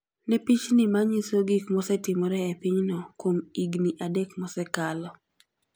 Ne pichni ma nyiso gik mosetimore e pinyno kuom higini adek mosekalo.